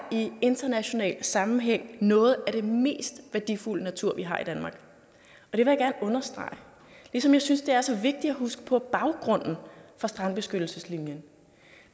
international sammenhæng noget af det mest værdifulde natur vi har i danmark og understrege ligesom jeg synes det er så vigtigt at huske på baggrunden for strandbeskyttelseslinjen